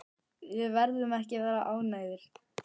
Verðum við ekki að vera ánægðir?